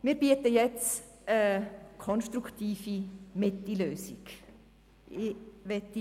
Wir bieten jetzt eine konstruktive Mitte-Lösung an.